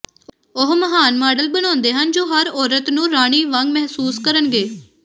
ਉਹ ਮਹਾਨ ਮਾਡਲ ਬਣਾਉਂਦੇ ਹਨ ਜੋ ਹਰ ਔਰਤ ਨੂੰ ਰਾਣੀ ਵਾਂਗ ਮਹਿਸੂਸ ਕਰਨਗੇ